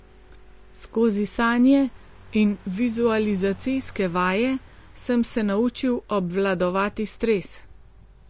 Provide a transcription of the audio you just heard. Skozi sanje in vizualizacijske vaje sem se naučil obvladovati stres.